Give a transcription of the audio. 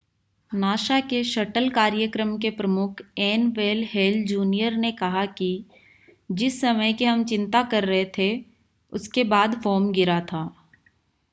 NASA के shuttle कार्यक्रम के प्रमुख एन वेन हेल जूनियर ने कहा कि जिस समय की हम चिंता कर रहे थे उसके बाद फोम गिरा था